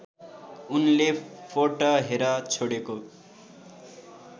उनले फोर्टहेर छोडेको